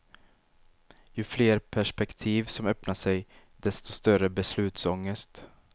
Ju fler perspektiv som öppnar sig, desto större beslutsångest.